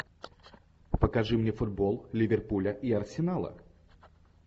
покажи мне футбол ливерпуля и арсенала